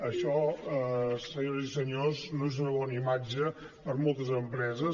això senyores i senyors no és una bona imatge per a moltes empreses